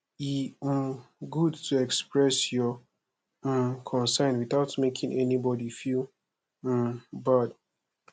e um good to express your um concern without making anybody feel um bad